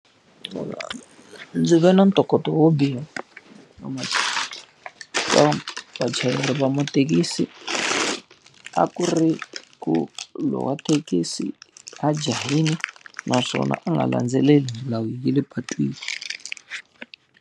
Ndzi ve na ntokoto wo biha vachayeri va mathekisi. A ku ri ku loyi wa thekisi a jahile naswona a nga landzeleli milawu ya le patwini.